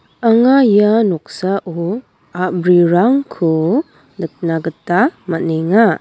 anga ia noksao a·brirangko nikna gita man·enga.